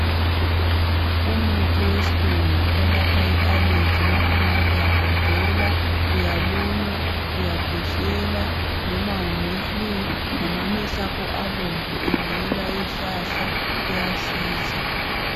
Umuthi wesilungu owelapha i allergy ngabe uyagodola, uyalunywa, uyakhwehlela noma ule flue noma amehlo akho abomvu ebangelwa yizihlahla uyasiza.